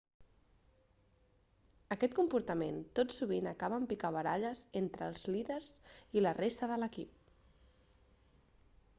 aquest comportament tot sovint acaba en picabaralles entre els líders i la resta de l'equip